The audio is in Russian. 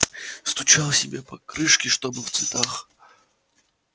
стучал себе по крышке чтобы в цветах